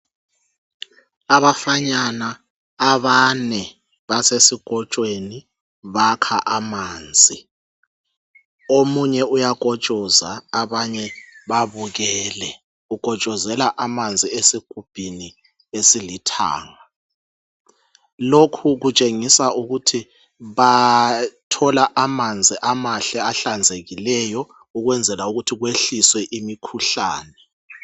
Abafanyana abane basesikotshweni bakha amanzi, omunye uyakotshoza abanye babukele. Ukotshozela amanzi esigubhini esilithanga. Lokho kutshengisa ukuthi bathola amanzi amahle ahlanzekileyo ukwenzela ukuthi kwehliswe imikhuhlane.